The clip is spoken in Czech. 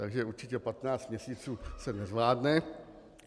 Takže určitě 15 měsíců se nezvládne.